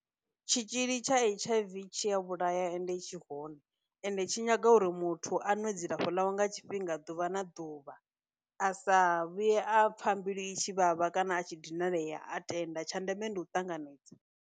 Tshitzhili tsha H_I_V tshi ya vhulaya ende tshi hone, ende tshi nyaga uri muthu a nwe dzilafho ḽawe nga tshifhinga ḓuvha na ḓuvha, a sa vhuye a pfha mbilu i tshi vhavha kana a tshi dinalea a tenda, tsha ndeme ndi u ṱanganedza.